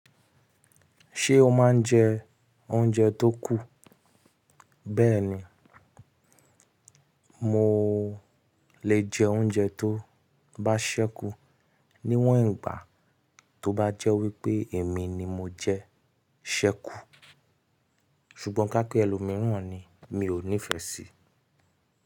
Ṣé o máa ń jẹ oúnjẹ tó kù? Mo lè jẹ oúnjẹ tó bá ṣẹ́kù níwọ̀n ìgbà tó bá jẹ́ wípé èmi ni mo jẹ ṣẹ́kù. Ṣùgbọ́n ká pe ẹlòmíràn ni mi ò nífẹ sií.